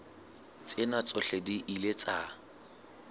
tsena tsohle di ile tsa